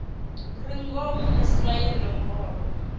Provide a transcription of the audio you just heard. re ngomu ni swaye nomboro